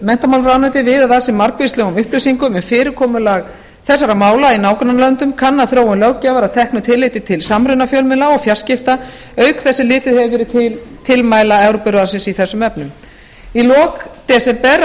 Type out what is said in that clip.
menntamálaráðuneytið viðað að sér margvíslegum upplýsingum um fyrirkomulag þessara mála í nágrannalöndum kannað þróun löggjafar að teknu tilliti til samruna fjölmiðla og fjarskipta auk þess sem litið hefur verið til tilmæla evrópuráðsins í þessum efnum í lok desember